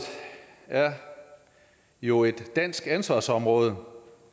er jo et dansk ansvarsområde